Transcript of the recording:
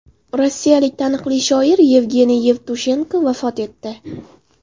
Rossiyalik taniqli shoir Yevgeniy Yevtushenko vafot etdi.